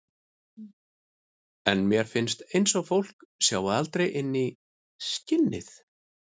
En mér finnst eins og fólk sjái aldrei inn fyrir skinnið.